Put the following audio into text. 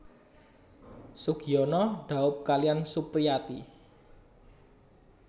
Sugiyono dhaup kaliyan Supriyati